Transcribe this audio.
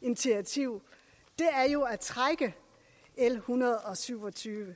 initiativ jo at trække l en hundrede og syv og tyve